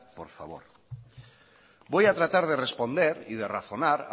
por favor voy a tratar de responder y de razonar